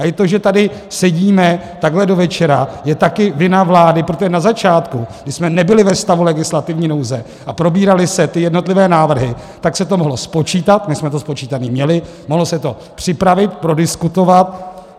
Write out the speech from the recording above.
A i to, že tady sedíme takhle do večera, je taky vina vlády, protože na začátku, kdy jsme nebyli ve stavu legislativní nouze a probíraly se ty jednotlivé návrhy, tak se to mohlo spočítat - my jsme to spočítané měli - mohlo se to připravit, prodiskutovat.